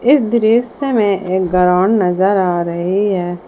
इस दृश्य में एक ग्राउंड नजर आ रही है।